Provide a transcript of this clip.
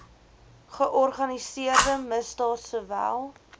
georganiseerde misdaad sowel